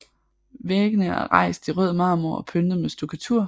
Væggene er rejst i rød marmor og pyntet med stukkatur